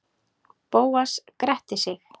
Bóas gretti sig.